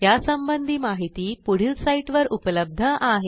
यासंबंधी माहिती पुढील साईटवर उपलब्ध आहे